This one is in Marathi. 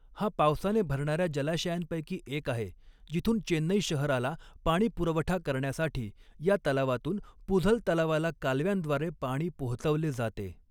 हा पावसाने भरणार्या जलाशयांपैकी एक आहे जिथून चेन्नई शहराला पाणीपुरवठा करण्यासाठी या तलावातून पुझल तलावाला कालव्यांद्वारे पाणी पोहचवले जाते.